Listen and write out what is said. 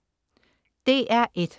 DR1: